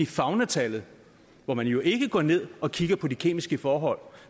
faunatallet hvor man jo ikke går ned og kigger på de kemiske forhold